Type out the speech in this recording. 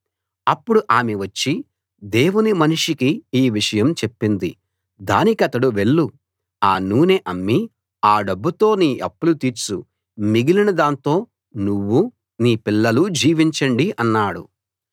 అప్పుడు ఆమె వచ్చి దేవుని మనిషికి ఈ విషయం చెప్పింది దానికతడు వెళ్ళు ఆ నూనె అమ్మి ఆ డబ్బుతో నీ అప్పులు తీర్చు మిగిలిన దాంతో నువ్వూ నీ పిల్లలూ జీవించండి అన్నాడు